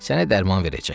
Sənə dərman verəcək.